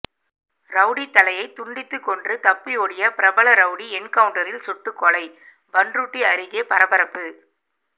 rowdy தலையை துண்டித்து கொன்று தப்பியோடிய பிரபல ரவுடி என்கவுன்டரில் சுட்டு கொலை பண்ருட்டி அருகே பரபரப்பு